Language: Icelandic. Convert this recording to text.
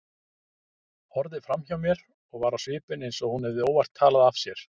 Horfði framhjá mér og var á svipinn eins og hún hefði óvart talað af sér.